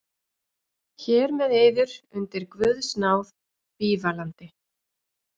Hér með yður undir guðs náð bífalandi.